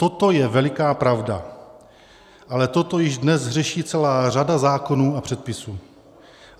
Toto je veliká pravda, ale toto již dnes řeší celá řada zákonů a předpisů.